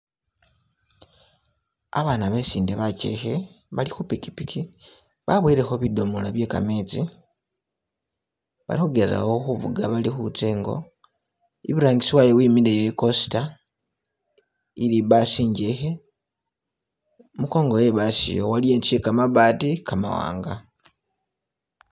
Abaana besinde bachekhe bali khu pikipiki baboyelekho bidomola bye kametsi bali khugezakho khu fuga bali khutsa ingo iburangisi wayo wimileyo i coaster ili i bus injekhe kumukongo we'basiiya waliyo inzu iye kamabaati kamwanga.